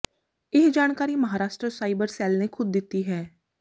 ਇਹ ਜਾਣਕਾਰੀ Maharashtra cyber cell ਨੇ ਖੁਦ ਦਿੱਤੀ ਹੈ